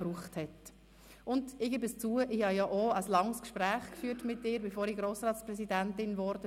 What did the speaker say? Ich habe bekanntlich ein langes Gespräch mit dir geführt, bevor ich Grossratspräsidentin wurde.